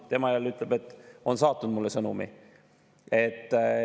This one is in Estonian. Tema jälle ütleb, et on saatnud mulle sõnumi.